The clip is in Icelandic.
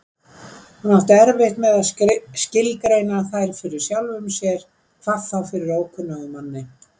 Hann átti erfitt með að skilgreina þær fyrir sjálfum sér, hvað þá fyrir ókunnugum manni.